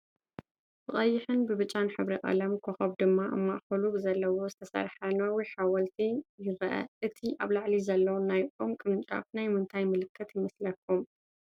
ብቐይሕን ብብጫን ሕብሪ ቀለምን ኾኾብ ድማ ኣብ ማእኸሉ ብዘለዎ ዝተሰርሐ ነዊሕ ሓወልቲ ይረአ፡፡ እቲ ኣብ ላዕሊ ዘሎ ናይ ኦም ቅርንጫፍ ናይ ምንታይ ምልክት ይመስለኩም?